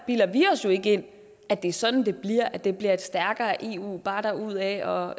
bilder vi os jo ikke ind at det er sådan det bliver altså at det bliver et stærkere eu bare derudad og